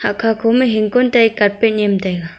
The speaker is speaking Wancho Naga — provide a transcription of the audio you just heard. aka koma hingkon tai carpet nyiam taiga.